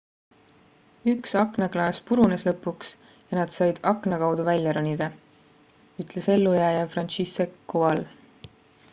üks aknaklaas purunes lõpuks ja nad said akna kaudu välja ronida ütles ellujääja franciszek kowal